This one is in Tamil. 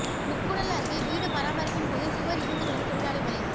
முக்கூடல் அருகே வீடு பராமரிப்பின் போது சுவர் இடிந்து விழுந்து தொழிலாளி பலி